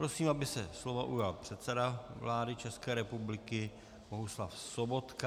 Prosím, aby se slova ujal předseda vlády České republiky Bohuslav Sobotka.